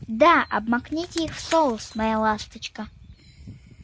да обмакните их в соус моя ласточка